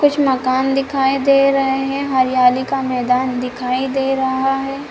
कुछ मकान दिखाई दे रहे है हरियाली का मैदान दिखाई दे रहा है।